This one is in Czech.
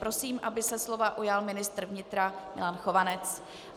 Prosím, aby se slova ujal ministr vnitra Milan Chovanec.